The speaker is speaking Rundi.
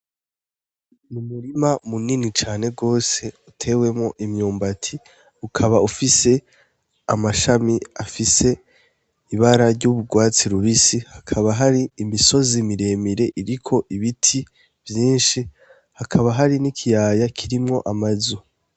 N'umurima munini cane gwose utewemwo imyumbati ukaba ufise amashami afise ibara ry'ugwatsi rubisi, hakaba hari imisozi miremire iriko ibiti vyinshi, hakaba hari n'ikiyaya kirimwo amazu.